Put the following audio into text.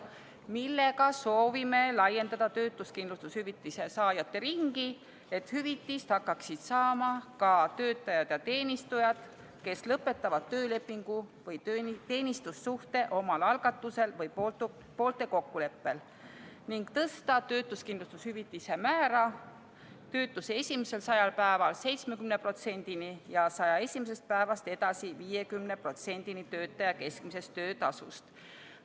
Sellega soovisime laiendada töötuskindlustushüvitise saajate ringi, et hüvitist hakkaksid saama ka töötajad ja teenistujad, kes lõpetavad töölepingu või teenistussuhte omal algatusel või poolte kokkuleppel, ning tõsta töötuskindlustushüvitise määra töötuse esimesel 100 päeval 70%-ni ja 101. päevast edasi 50%-ni töötaja keskmisest töötasust.